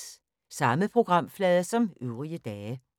Samme programflade som øvrige dage